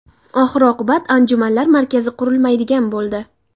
Oxir-oqibat anjumanlar markazi qurilmaydigan bo‘ldi.